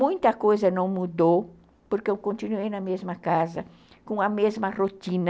Muita coisa não mudou, porque eu continuei na mesma casa, com a mesma rotina.